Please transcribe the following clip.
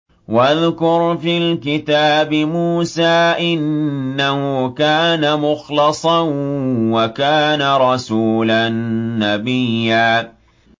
وَاذْكُرْ فِي الْكِتَابِ مُوسَىٰ ۚ إِنَّهُ كَانَ مُخْلَصًا وَكَانَ رَسُولًا نَّبِيًّا